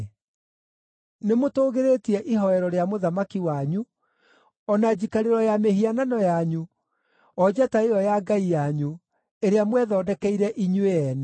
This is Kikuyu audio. Nĩmũtũũgĩrĩtie ihooero rĩa mũthamaki wanyu, o na njikarĩro ya mĩhianano yanyu, o njata ĩyo ya ngai yanyu, ĩrĩa mwethondekeire inyuĩ ene.